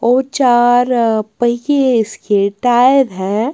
और चार पहिए इसके टायर हैं।